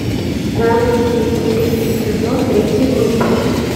голос дети третий сезон третий выпуск